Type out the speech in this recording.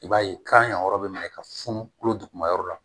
I b'a ye kan yan yɔrɔ bɛ minɛ ka funu kolo duguma yɔrɔ la